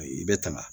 I bɛ tanga